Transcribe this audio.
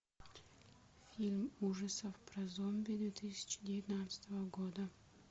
фильм ужасов про зомби две тысячи девятнадцатого года